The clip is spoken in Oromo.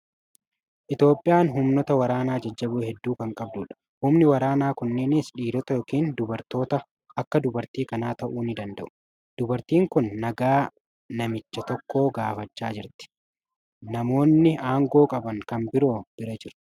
Itoophiyaan humnoota waraanaa jajjaboo hedduu kan qabdudha. Humni waraanaa kunneenis dhiirota yookiin dubartoota akka dubartii kanaa ta'u ni danda'u. Dubartiin kun nagaa namicha tokko gaafachaa jirti . Namoonni aangoo qaban kan biroon bira jiru.